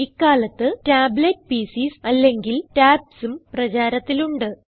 ഇക്കാലത്ത് tablet PCs അല്ലെങ്കിൽ tabsഉം പ്രചാരത്തിലുണ്ട്